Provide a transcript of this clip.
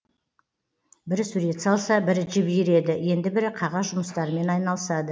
бірі сурет салса бірі жіп иіреді енді бірі қағаз жұмыстарымен айналысады